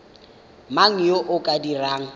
mang yo o ka dirang